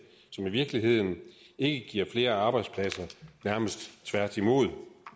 som i virkeligheden ikke giver flere arbejdspladser nærmest tværtimod